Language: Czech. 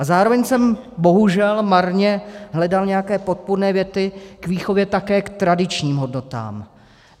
A zároveň jsem bohužel marně hledal nějaké podpůrné věty k výchově také k tradičním hodnotám.